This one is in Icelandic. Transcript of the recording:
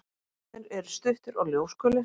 Fæturnir eru stuttir og ljósgulir.